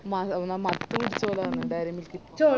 മത്ത് പിടിച്ചപോലെയാന്ന് dairy milk